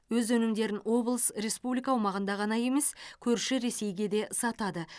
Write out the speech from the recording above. өз өнімдерін облыс республика аумағында ғана емес көрші ресейге де сатады